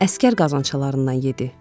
Əsgər qazanclarından yedi.